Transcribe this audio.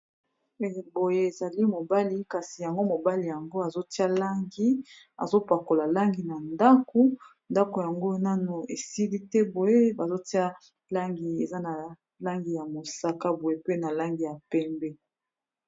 boye ezali mobali kasi yango mobali yango azotia langi azopakola langi na ndako ndako yango nano esili te boye bazotia langi eza ,na langi ya mosaka boye pe na langi ya pembe